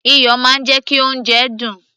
iyọ̀ máa ń jẹ́ kí oúnjẹ dùn